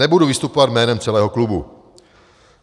Nebudu vystupovat jménem celého klubu.